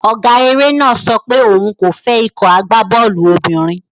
Ọ̀gá eré náà sọ pé òun kò fẹ́ ikọ̀ agbábọ́ọ̀lù obìnrin.